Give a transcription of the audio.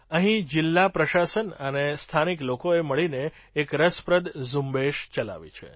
અહીં જિલ્લા પ્રશાસન અને સ્થાનિક લોકોએ મળીને એક રસપ્રદ ઝુંબેશ ચલાવી છે